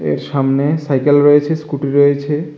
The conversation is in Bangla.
এর সামনে সাইকেল রয়েছে স্কুটি রয়েছে।